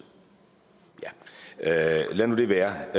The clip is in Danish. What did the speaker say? ja lad nu det være